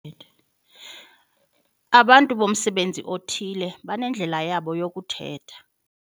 Abantu bomsebenzi othile banendlela yabo yokuthetha.